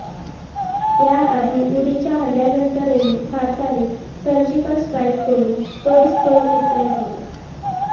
याआधी उरीच्या हल्ल्यानंतरही भारताने सर्जिकल स्ट्राइक करून तोडीस तोड उत्तर दिलं